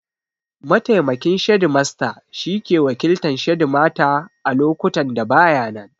Mataimakin shedimasta shi ke wakiltan shedimata a lokutan da ba ya nan